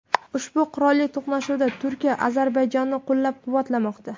Ushbu qurolli to‘qnashuvda Turkiya Ozarbayjonni qo‘llab-quvvatlamoqda .